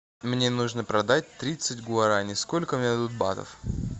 мне нужно продать тридцать гуарани сколько мне дадут батов